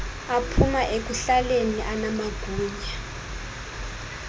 aphuma ekuhlaleni anamagunya